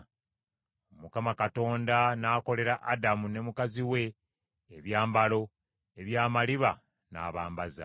Mukama Katonda n’akolera Adamu ne mukazi we ebyambalo eby’amaliba n’abambaza.